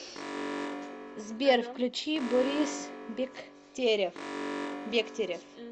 сбер включи борис бектерев